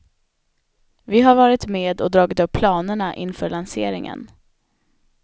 Vi har varit med och dragit upp planerna inför lanseringen.